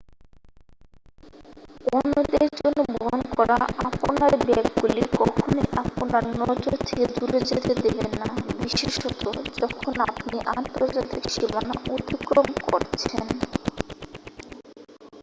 অন্যদের জন্য বহন করা আপনার ব্যাগগুলি কখনই আপনার নজর থেকে দূরে যেতে দেবেন না বিশেষত যখন আপনি আন্তর্জাতিক সীমানা অতিক্রম করছেন